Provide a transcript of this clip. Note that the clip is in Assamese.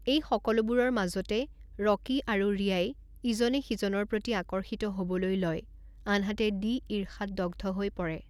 এই সকলোবোৰৰ মাজতে ৰকী আৰু ৰিয়াই ইজনে সিজনৰ প্ৰতি আকৰ্ষিত হ'বলৈ লয় আনহাতে ডি ঈৰ্ষাত দগ্ধ হৈ পৰে।